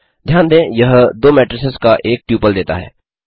ध्यान दें यह दो मेट्रिसेस का एक ट्यूपल देता है